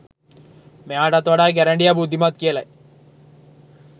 මෙයාටත් වඩා ගැරඬිය බුද්ධිමත් කියලයි.